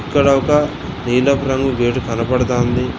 ఇక్కడ ఒక నీలపు రంగు గేటు కనబడతాంది.